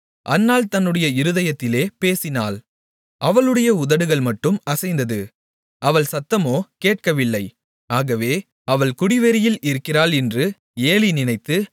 அன்னாள் தன்னுடைய இருதயத்திலே பேசினாள் அவளுடைய உதடுகள்மட்டும் அசைந்தது அவள் சத்தமோ கேட்கவில்லை ஆகவே அவள் குடிவெறியில் இருக்கிறாள் என்று ஏலி நினைத்து